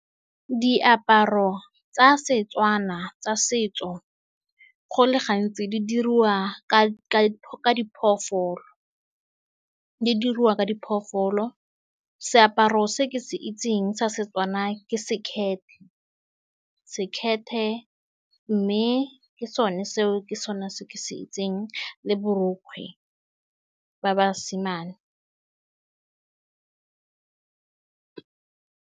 Diaparo tsa Setswana tsa setso, go le gantsi, di diriwa ka diphologolo. Seaparo se ke se itseng sa Setswana ke sekete-sekete, mme ke sone seo, ke sone se ke se itseng, le borokgwe ba basimane.